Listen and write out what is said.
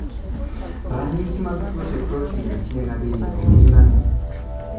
Ranyisi mag tuoche proten tieng' abirio gin ang'o?